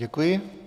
Děkuji.